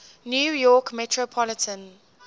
new york metropolitan